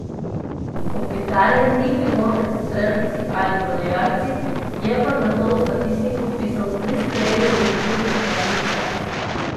Kopitarja ni bilo med strelci ali podajalci, je pa zato v statistiko vpisal tri strele v okvir nasprotnih vrat.